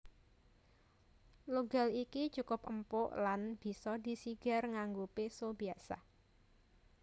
Logal iki cukup empuk lan bisa disigar nganggo péso biasa